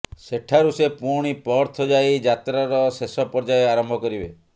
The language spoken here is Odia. ସେଠାରୁ ସେ ପୁଣି ପର୍ଥ ଯାଇ ଯାତ୍ରାର ଶେଷ ପର୍ଯ୍ୟାୟ ଆରମ୍ଭ କରିବେ